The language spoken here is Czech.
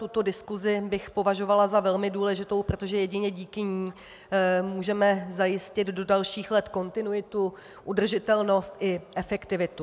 Tuto diskusi bych považovala za velmi důležitou, protože jedině díky ní můžeme zajistit do dalších let kontinuitu, udržitelnost i efektivitu.